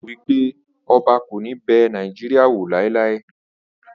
O ro wipe Oba ko ni be Nigeria laelae